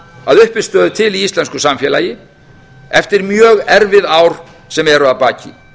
að uppistöðu til í íslensku samfélagi eftir mjög erfið ár sem eru að baki